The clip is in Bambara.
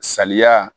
Saliya